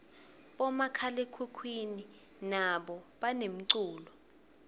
bomakhalekhukhwini nabo banemculo